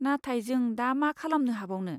नाथाय, जों दा मा खालामनो हाबावनो?